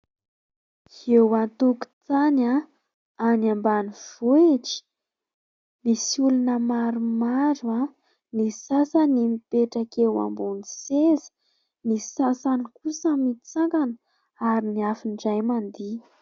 Eo antokotany, any ambanivohitra ; misy olona maromaro ny sasany mipetraka eo ambony seza, ny sasany kosa mitsangana ary ny hafa indray mandihy.